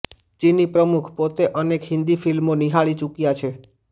ચીની પ્રમુખ પોતે અનેક હિન્દી ફિલ્મો નિહાળી ચુક્યા છે